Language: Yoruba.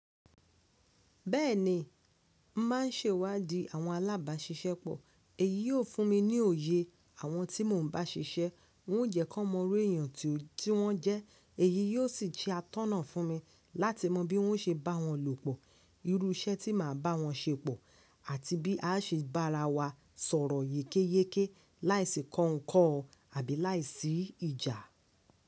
Bẹ́ẹ̀ni, màá ń sẹwàdi àwọn alábàáṣiṣẹ́ pọ̀. Èyí yóò fún mi ní òye àwọn tí mò ń bá ṣiṣẹ́, n ó jẹ́ kan mọrú èèyàn tí wọ́n jẹ́, èyí yíò sì jẹ́ atọ́nà fún mi láti mọ bí wọ́n ń se bá wọn lòpọ̀, irú iṣẹ́ tí màá bá wọn ṣe pọ̀ àti bí à á ṣe bá ara wa sọ̀rọ̀ yékéyéké láìsí kọ́nkọ̀o àbí láìsí ìjà.